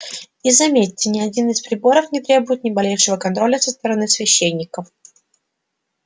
и заметьте ни один из приборов не требует ни малейшего контроля со стороны священников